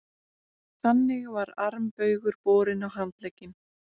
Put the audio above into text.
Þannig var armbaugur borinn á handlegg.